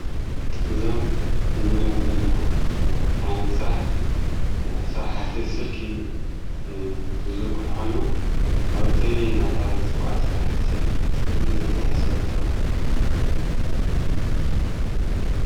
እዞም ንሪኦም ዘለና ዓይነት ሥራሕ ሠራሕቲ ስልኪ ዝዘርኩሕ ኾይኖም ኣብ ቴሌ ናተብሃለ ዝጽዋዕ ሠራሕቲ ስልኪ ዝርጋሐ ዝሰርሕ ሰባት እዮም::